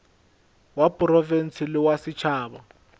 wa profense le wa setšhaba